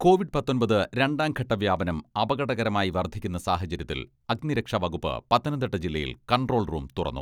Covid പത്തൊമ്പത് രണ്ടാം ഘട്ട വ്യാപനം അപകടകരമായി വർധിക്കുന്ന സാഹചര്യത്തിൽ അഗ്നിരക്ഷാ വകുപ്പ് പത്തനംതിട്ട ജില്ലയിൽ കൺട്രോൾ റൂം തുറന്നു.